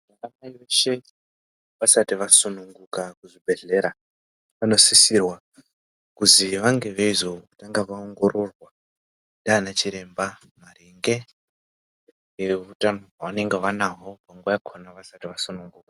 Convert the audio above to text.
Vana mai veshe vasati vasununguka kuzvibhedhlera vanosisirwa kuzi vange veizotanga vaongororwa ndiana chiremba nehutano hwavange vanaho munguwa yakona vasati vasunguka.